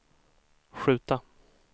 skjuta